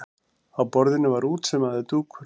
Á borðinu var útsaumaður dúkur.